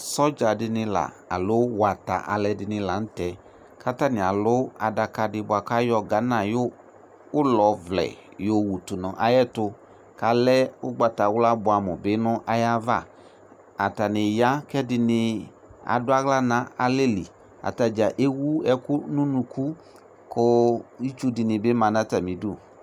Sɔdzaɖini aloo wata alʋɛɖinila nʋ tɛ k'atania lʋ aɖakaɖi boa k'ayɔ Ghana ayɔʋlɔ vlɛ wɔwutʋ n'ayɛtʋ k'alɛ ugbatawlua boamu nʋ ayava, atani eyea k'ɛɖini aɖʋ aɣla n'alɛliAtadza ewu ɛkʋ nʋ unʋku kʋ ituɖini bi maa n'atami ɖʋ